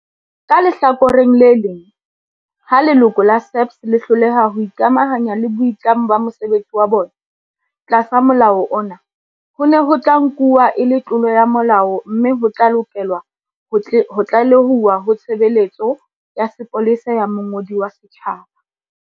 Ka lehlakoreng le leng, ha leloko la SAPS le hloleha ho ikamahanya le boitlamo ba mosebetsi wa bona, tlasa Molao ona, hono ho tla nkuwa e le tlolo ya molao mme ho tla lokelwa ho tlelehuwa ho Tshebeletso ya Sepolesa ya Mongodi wa Setjhaba.